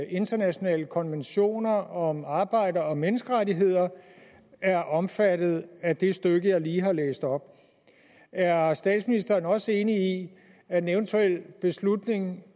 internationale konventioner om arbejde og menneskerettigheder er omfattet af det stykke jeg lige har læst op er er statsministeren også enig i at en eventuel beslutning